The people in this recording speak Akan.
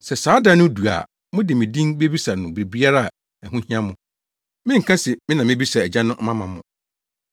Sɛ saa da no du a mode me din bebisa no biribiara a ɛho hia mo. Menka se me na mebisa Agya no ama mo,